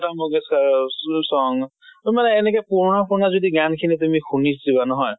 লতা মঙ্গেচ্কাৰৰ কোনবা এটা এনেকে পুৰণা পুৰণা যদি গান খিনি তুমি শুনি যোৱা নহয়